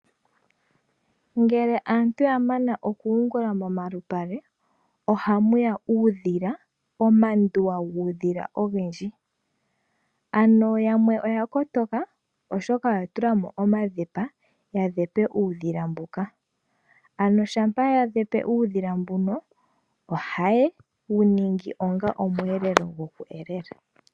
Ngele aantu ya mana oku yungula momalupale, oha mu ya uudhila, omanduwa guudhila ogendji, ano yamwe oya kotoka oshoka oya tulamo omadhepa, ya dhepe uudhila mboka. Ano shampa ya dhepe uudhila mbuno, oha ye wu ningi onga omweelelo, gwo ku elela.